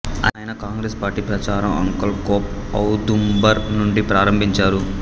ఆయన కాంగ్రెస్ పార్టీ ప్రచారం అంకల్ఖోప్ ఔదుంబర్ నుండి ప్రారంభించారు